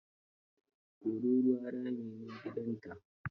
Tururuwa rami ne gidanta.